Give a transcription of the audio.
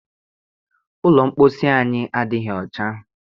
Ụlọ mposi anyị adịghị ọcha.